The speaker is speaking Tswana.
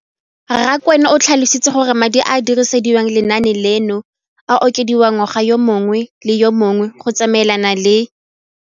Rakwena o tlhalositse gore madi a a dirisediwang lenaane leno a okediwa ngwaga yo mongwe le yo mongwe go tsamaelana le.